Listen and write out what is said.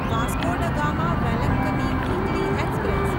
Vasco da Gama Velankanni weekly express